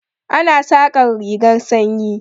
Ana saƙar rigar sanyi.